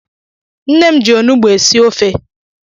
Nne m ji Onugbo esi ofe